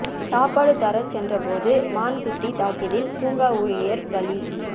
சாப்பாடு தரச் சென்றபோது மான் குத்தித் தாக்கியதில் பூங்கா ஊழியர் பலி